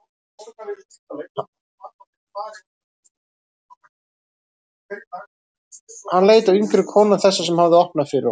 Hann leit á yngri konuna, þessa sem hafði opnað fyrir honum.